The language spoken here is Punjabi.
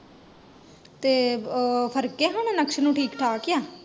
ਤੇ ਉਹ, ਫਰਕ ਆ ਹੁਣ ਨਕਸ਼ ਨੂੰ ਹੁਣ ਠੀਕ ਠਾਕ ਆ?